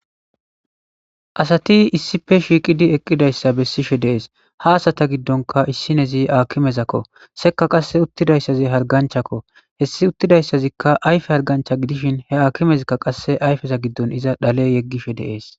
Asati issife shiiqidi eqqidayssa bessishe deees ha asata giddonka issinezi akimezakko sekka qasse uttidayssazi harganchakko hessi uttidayssazikka ayfe hargancha gidishin he akimezikka qasse ayfeza giddon iza dhale yeggishe deees